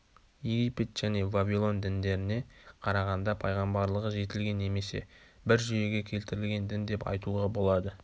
египет және вавилон діндеріне қарағанда пайғамбарлығы жетілген немесе бір жүйеге келтірілген дін деп айтуға болады